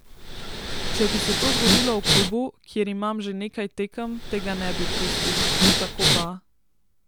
Če bi se to zgodilo v klubu, kjer imam že nekaj tekem, tega ne bi pustil, tako pa ...